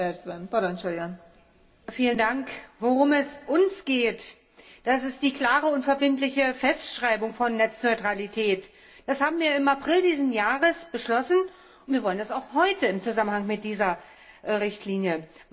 Frau Präsidentin! Worum es uns geht, das ist die klare und verbindliche Festschreibung von Netzneutralität. Das haben wir im April dieses Jahres beschlossen, und wir wollen das auch heute im Zusammenhang mit dieser Richtlinie.